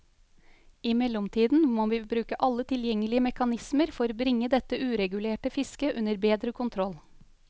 I mellomtiden må vi bruke alle tilgjengelige mekanismer for bringe dette uregulerte fisket under bedre kontroll.